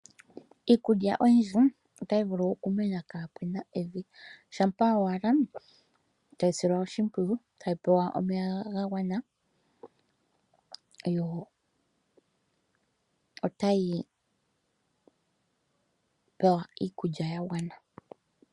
Iikulya oyindji otayi vulu okumena kapena evi shampa owala tayi silwa oshimpwiyu tayi pewa omeya gagwana yo tayi pewa iikulya yagwana.